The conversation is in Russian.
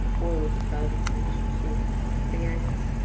успокоилась сразу короче все вот это состояние